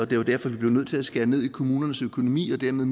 det var derfor man blev nødt til at skære ned i kommunernes økonomi og dermed